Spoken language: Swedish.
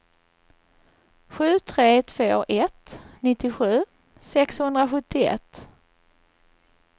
sju tre två ett nittiosju sexhundrasjuttioett